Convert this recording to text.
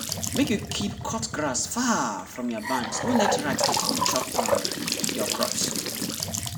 make you keep cut grass far from barns no let rat dey come chop um your crops!